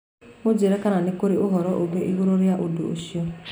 mũnjĩĩre kana nĩ kũrĩ ũhoro ũngĩ na igũrũ rĩa ũndũ ũcio